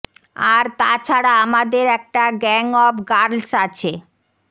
আর তা ছাড়া আমাদের একটা গ্যাং অব গার্লস আছে